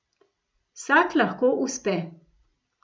Vsak lahko uspe.